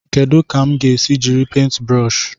Kedu ka m ga-esi jiri paintị brụsh?